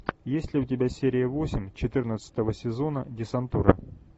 есть ли у тебя серия восемь четырнадцатого сезона десантура